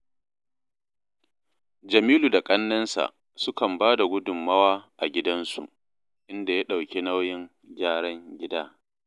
Jamilu da ƙannensa sukan ba da gudummawa a gidansu, inda ya ɗauki nauyin gyaran gida